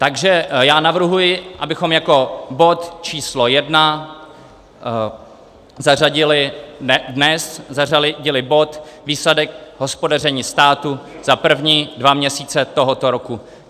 Takže já navrhuji, abychom jako bod číslo jedna zařadili dnes bod Výsledek hospodaření státu za první dva měsíce tohoto roku.